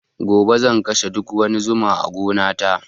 Gobe zan kashe duk wani zuma a gona ta